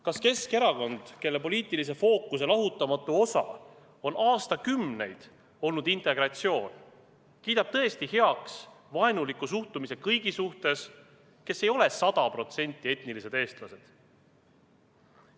Kas Keskerakond, kelle poliitilise fookuse lahutamatu osa on aastakümneid olnud integratsioon, kiidab tõesti heaks vaenuliku suhtumise kõigisse, kes ei ole sada protsenti etnilised eestlased?